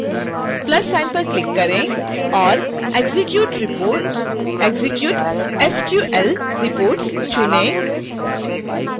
plus sign पर click करें और execute _reports execute sql reports चुनें